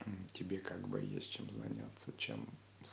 тебе как бы есть чем заняться чем